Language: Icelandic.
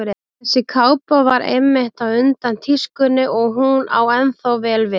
Þessi kápa var einmitt á undan tískunni og hún á ennþá vel við.